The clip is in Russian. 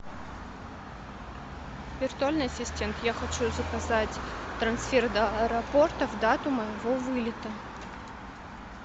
виртуальный ассистент я хочу заказать трансфер до аэропорта в дату моего вылета